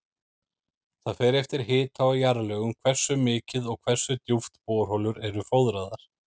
Það fer eftir hita og jarðlögum hversu mikið og hversu djúpt borholur eru fóðraðar.